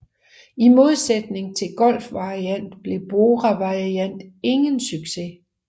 I modsætning til Golf Variant blev Bora Variant ingen succes